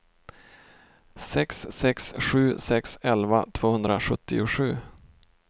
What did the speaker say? sex sex sju sex elva tvåhundrasjuttiosju